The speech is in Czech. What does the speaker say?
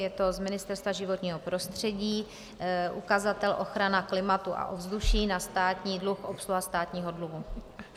Je to z Ministerstva životního prostředí, ukazatel ochrana klimatu a ovzduší, na státní dluh, obsluha státního dluhu.